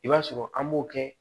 I b'a sɔrɔ an b'o kɛ